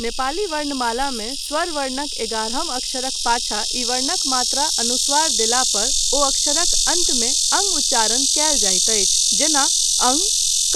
नेपाली वर्णमालामे स्वरवर्णक एगारहम अक्षरक पाछा ई वर्णक मात्रा अनुस्वार ं देलापर ओ अक्षरक अन्त्यमे अं उच्चारण कयल जाइत अछि जेना अं